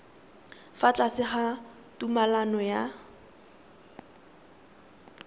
fa tlase ga tumalano ya